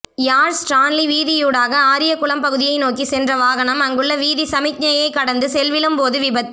யாழ் Stanley வீதியூடாக ஆரியகுளம் பகுதியை நோக்கிச் சென்ற வாகனம் அங்குள்ள வீதிச் சமிக்ஞையை கடந்து செல்விலும்போது விபத்து